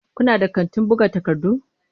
Kuna da kantin buga takardu?